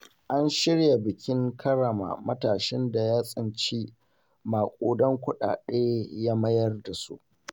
An shirya bikin karrama matashin da ya tsinci maƙudan kuɗaɗe ya mayar da su.